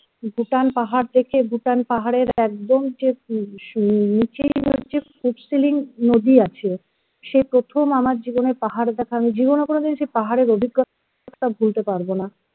bhutan পাহাড় দেখে Bhutan পাহাড়ের একদম যে নিচে যে Phuntsholling phuntsholing যদি আছে সে প্রথম আমার জীবনের পাহাড় দেখা আমি জীবনে কোনোদিন পাহাড়ের অভিজ্ঞতা ভুলতে পারবো না